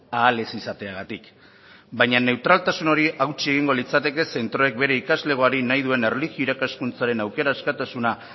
ahal ez izateagatik baina neutraltasun hori hautsi egingo litzateke zentroek bere ikaslegoari nahi duen erlijio irakaskuntzaren aukera askatasuna